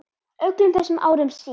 Öllum þessum árum síðar.